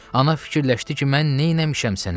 Ana fikirləşdi ki, mən nə eləmişəm sənə?